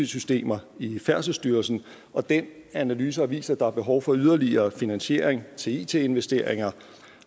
systemer i færdselsstyrelsen og den analyse har vist at der er behov for yderligere finansiering til it investeringer